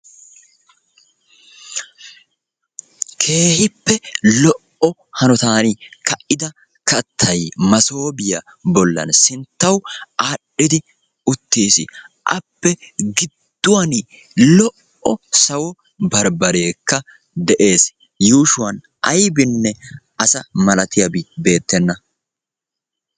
Keehippe lo''o hanotan ka"ida kaattay massooppiya bollan sinttawu adhdhidi uttiis, Appe gidduwan lo"o sawo barbbareekka de'ees yuushuwan aybbinne asa maltiyabi beettenna.